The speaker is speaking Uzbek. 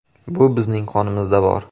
Bu bizning qonimizda bor.